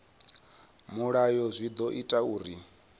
mulayo zwi ḓo ita uri